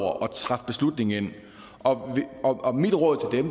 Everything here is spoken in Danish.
træffe beslutninger om og mit råd